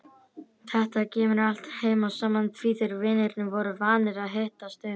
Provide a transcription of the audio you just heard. Þetta kemur allt heim og saman því þeir vinirnir voru vanir að hittast um